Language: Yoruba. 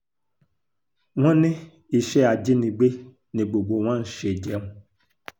wọ́n ní iṣẹ́ ajínigbé ni gbogbo wọn ń ṣe jẹun